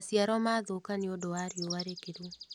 Maciaro mathũka nĩũndũ wa riũa rĩkĩru.